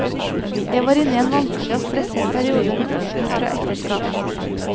Jeg var inne i en vanskelig og stresset periode med oppbrudd fra ekteskap.